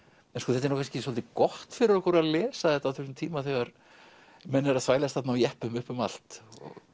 þetta er nú kannski svolítið gott fyrir okkur að lesa þetta á þessum tíma þegar menn eru þvælast þarna á jeppum upp um allt